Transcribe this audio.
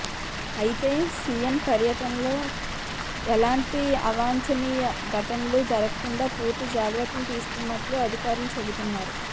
అయితే సీఎం పర్యటనలో ఎలాంటి అవాంఛనీయ ఘటనలూ జరగకుండా పూర్తి జాగ్రత్తలు తీసుకున్నట్లు అధికారులు చెబుతున్నారు